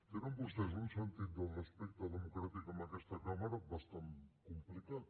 tenen vostès un sentit del respecte democràtic a aquesta cambra bastant complicat